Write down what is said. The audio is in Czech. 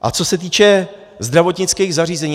A co se týče zdravotnických zařízení.